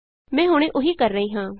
ਮੈਂ ਹੁਣੇ ਉਹੀ ਕਰ ਰਹੀ ਹਾਂ